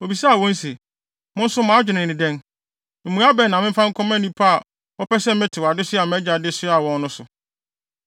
Obisaa wɔn se, “Mo nso mo adwene ne dɛn? Mmuae bɛn na memfa nkɔma nnipa a wɔpɛ sɛ metew adesoa a mʼagya de soaa wɔn no so?”